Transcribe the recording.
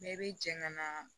Ne bɛ jɛ ka na